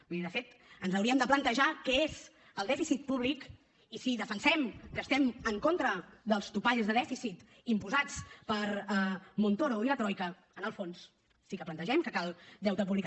vull dir de fet ens hauríem de plantejar què és el dèficit públic i si defensem que estem en contra dels topalls de dèficit imposats per montoro i la troica en el fons sí que plantegem que cal deute públic